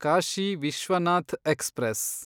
Kashi Vishwanath express